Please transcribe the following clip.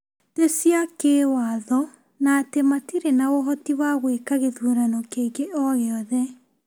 tĩ cia kĩa watho na atĩ matirĩ na ũhoti wa gwĩka gĩthurano kĩngĩ o gĩothe.